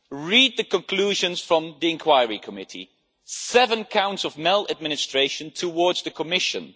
Read the conclusions from the Inquiry Committee seven counts of maladministration against the Commission.